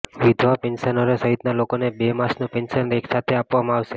વિધવા પેન્શનરો સહિતના લોકોને બે માસનું પેન્શન એક સાથે આપવામાં આવશે